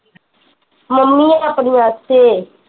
mummy ਆਪਣੀ ਵਾਸਤੇ